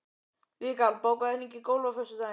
Vikar, bókaðu hring í golf á föstudaginn.